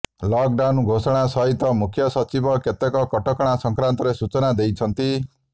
lockdown ଘୋଷଣା ସହିତ ମୁଖ୍ୟ ସଚିବ କେତେକ କଟକଣା ସଂକାନ୍ତରେ ସୂଚନା ଦେଇଛନ୍ତି